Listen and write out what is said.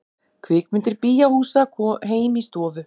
Kvikmyndir bíóhúsa heim í stofu